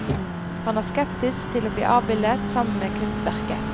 Han er skeptisk til å bli avbildet sammen med kunstverket.